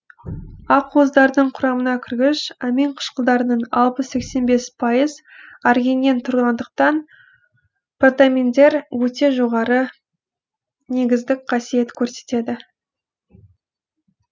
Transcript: ақуыздардың құрамына кіргіш амин қышқылдарының алпыс сексен бес пайыз аргининнен тұратындықтан протаминдер өте жоғарғы негіздік қасиет көрсетеді